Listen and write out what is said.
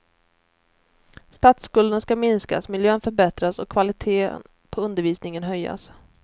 Statsskulden ska minskas, miljön förbättras och kvaliteten på undervisningen höjas.